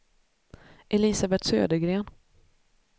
Elisabet Södergren